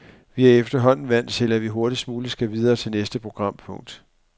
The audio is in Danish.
Vi er efterhånden vant til, at vi hurtigst muligt skal videre til næste programpunkt.